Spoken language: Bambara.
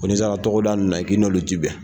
Ko ni sera tɔgɔ da nunnu na k' i n'olu tɛ bɛn.